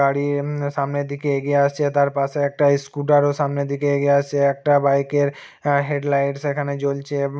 গাড়ির ঊম সামনের দিকে এগিয়ে আসছে তার পাশে একটা স্কুটার ও সামনের দিকে এগিয়ে আসছে একটা বাইক এর অ্যা হেড লাইট সেখানে জ্বলছে ঊম।